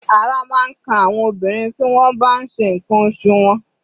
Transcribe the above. Ara máa ń kan àwọn obìnrin tí wọ́n bá n ṣe ǹkan oṣù wọn.